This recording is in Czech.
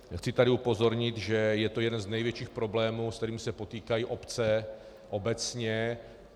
Chci tady upozornit, že je to jeden z největších problémů, se kterými se potýkají obce obecně.